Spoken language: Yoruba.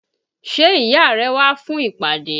Ṣé ìyá rẹ wá fún ìpàdé?